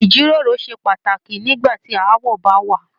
Ijiroro ṣe pàtàkì nígbà tí aawọ bá wà.